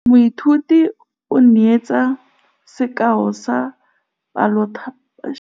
Moithuti o neetse sekaô sa palophatlo fa ba ne ba ithuta dipalo.